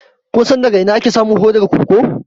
Kun san daga ina ake samun hodar koko?